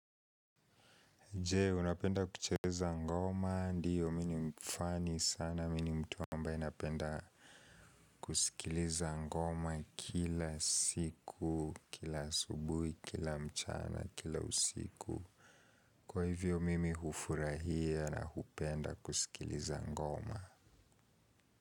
Je unapenda kucheza ngoma ndiyo mi ni mfani sana mini mtu ambae napenda kusikiliza ngoma kila siku, kila asubuhi, kila mchana, kila usiku. Kwa hivyo mimi hufurahia na hupenda kusikiliza ngoma.